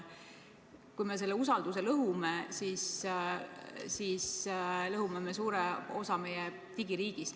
Kui me selle usalduse lõhume, siis lõhume suure osa meie digiriigist.